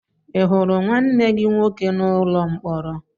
Ị hụrụ nwanne gị nwoke n'ụlọ mkpọrọ?